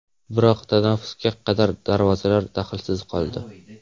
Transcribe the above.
Biroq tanaffusga qadar darvozalar dahlsiz qoldi.